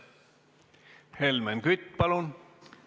Helmen Kütt, palun!